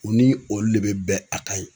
U ni olu de bɛ bɛn a kan ye.